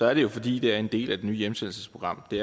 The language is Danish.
er det jo fordi det er en del af det nye hjemsendelsesprogram det